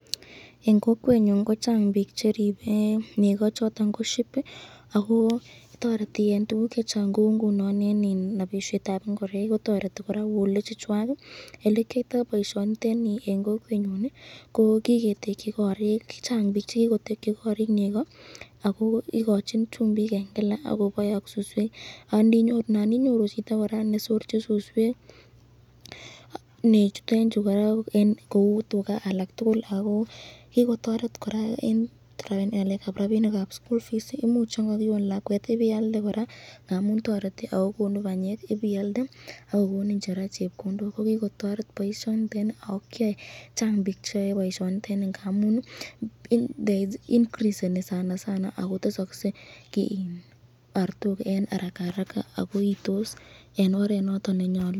Eng kokwenyon ko Chang bik cheribe cheko choton, ko sheep ako toreti eng tukuk chechang kou ngunon eng napishetab ingoraik kotoreti koraa wool ichuchwak , elekiyoiyto boisyoniteni eng kokwenyon, kiketekyi korik, Chang bik chekikotekyi korik neko ako ikochin chumbik eng Kila ak kebae ak suswek, naninyoru chito koraa nesorchin suswek nechutenchu koraa kou tuka alak tukul ako kikotoret koraa eng ngalekab rabinikab sukul imuch yan kakion lakwet ,ipialde koraa ,ak kokonin chepkondok, kokikotoreb boisyoniteni.